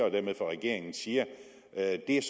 og dermed fra regeringen siger at det er